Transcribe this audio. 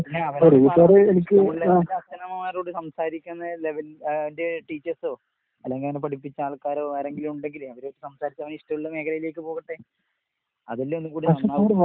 പിന്നെ അവരോട് പുള്ളേർടെ അച്ഛനമ്മമാരോട് സംസാരിക്കുന്ന ലെവലിൽ അയ്ന്റെ ടീച്ചേഴ്‌സോ, അല്ലെങ്കിയവനെ പഠിപ്പിച്ചാൾക്കാരോ ആരെങ്കിലുവുണ്ടെങ്കിലേ അവര് സംസാരിച്ച് അവനിഷ്ടോള്ള മേഖലയിലേക്ക് പോകട്ടെ. അതല്ലേ ഒന്നും കൂടി നന്നാവാ.